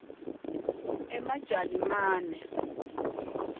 emajalimane